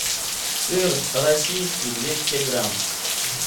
сыр российский двести грамм